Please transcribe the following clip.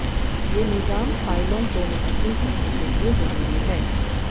یہ نظام فائلوں کو منظم کرنے کے لئے ضروری ہے